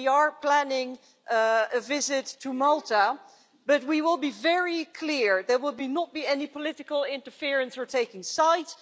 We are planning a visit to Malta, but we will be very clear there will not be any political interference or taking sides.